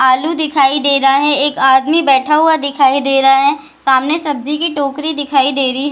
आलू दिखाई दे रहा है एक आदमी बैठा हुआ दिखाई दे रहा है सामने सब्जी की टोकरी दिखाई दे रही --